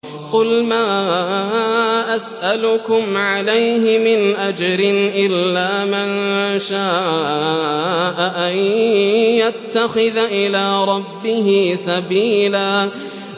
قُلْ مَا أَسْأَلُكُمْ عَلَيْهِ مِنْ أَجْرٍ إِلَّا مَن شَاءَ أَن يَتَّخِذَ إِلَىٰ رَبِّهِ سَبِيلًا